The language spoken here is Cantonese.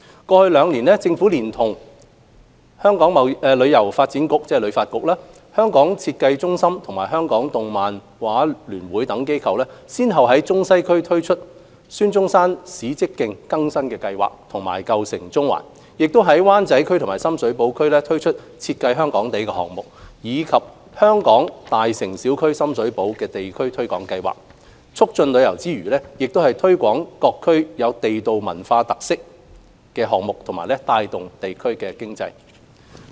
過去兩年，政府連同香港旅遊發展局、香港設計中心及香港動漫畫聯會等機構，先後在中西區推出孫中山史蹟徑更新計劃和"舊城中環"、在灣仔區和深水埗區推出"設計香港地"項目，以及"香港.大城小區─深水埗"地區推廣計劃，促進旅遊之餘，也推廣各區地道文化特色和帶動地區經濟。